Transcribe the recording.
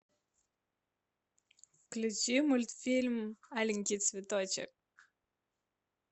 включи мультфильм аленький цветочек